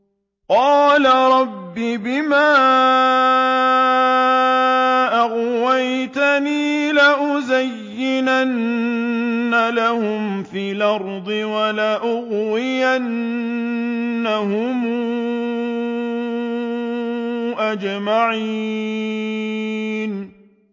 قَالَ رَبِّ بِمَا أَغْوَيْتَنِي لَأُزَيِّنَنَّ لَهُمْ فِي الْأَرْضِ وَلَأُغْوِيَنَّهُمْ أَجْمَعِينَ